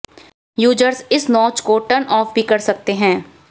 users इस notch को turn off भी कर सकते हैं